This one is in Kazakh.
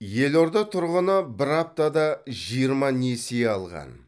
елорда тұрғыны бір аптада жиырма несие алған